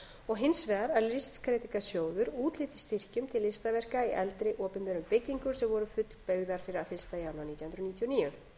og hins vegar að listskreytingasjóður úthluti styrkjum til listaverka í eldri opinberum byggingum sem voru fullbyggðar fyrir fyrsta janúar nítján hundruð níutíu og níu